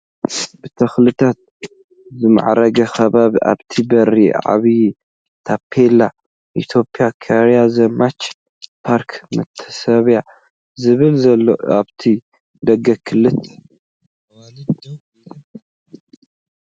ብተክልታት ዝማዕረገ ከባቢ ኣብቲ በሪ ዓብይ ታፔላ ኢትዮጽያ ኮርያ ዘማች ፓርክ መታሰብያ ዝብል ዘለዎ ኣብቲ ደገ ክልተ ኣዋልድ ደው ኢለን ኣለዋ።